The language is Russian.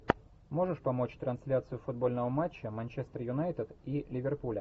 можешь помочь трансляцию футбольного матча манчестер юнайтед и ливерпуля